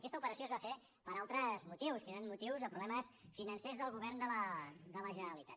aquesta operació es va fer per altres motius que eren motius o problemes financers del govern de la generalitat